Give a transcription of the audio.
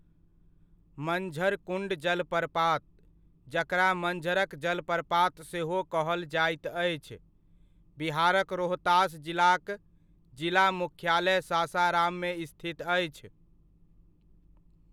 मंझर कुण्ड जलप्रपात, जकरा मंझरक जलप्रपात सेहो कहल जाइत अछि, बिहारक रोहतास जिलाक जिला मुख्यालय सासाराममे स्थित अछि।